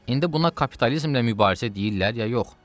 İndi buna kapitalizmlə mübarizə deyirlər ya yox?